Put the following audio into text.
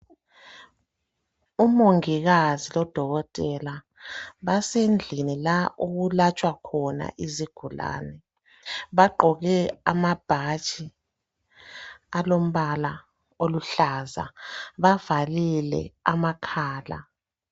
Umongikazi lo dokotela basendlini lapho okulatshwa khona izigulane. Bagqoke ama bhatshi alombala oluhlaza. Bavalile amakhala.